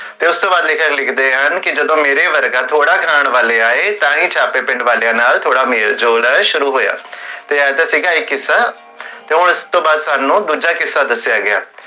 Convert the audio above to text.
ਤੇ ਓਸ ਤੋ ਬਾਦ ਲੇਖਕ ਲਿਖਦੇ ਹਨ ਕਿ, ਜਦੋ ਮੇਰੇ ਵਰਗਾ ਥੋੜਾ ਖਾਨ ਵਾਲੇ ਆਏ, ਤਾਹੀਂ ਸਾਡੇ ਪਿੰਡ ਵਾਲਿਆਂ ਨਾਲ ਥੋੜਾ ਮੇਲ ਝੋਲ ਸ਼ੁਰੂ ਹੋਇਆ, ਤੇ ਓਸ ਤੋ ਬਾਅਦ ਸਾਨੂ ਦੂਜਾ ਕਿੱਸਾ ਦਸਿਆ ਗਿਆ